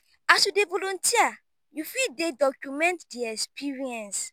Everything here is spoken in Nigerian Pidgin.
as you dey volunteer you fit dey document di experience